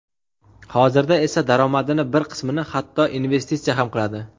Hozirda esa daromadini bir qismini hatto investitsiya ham qiladi.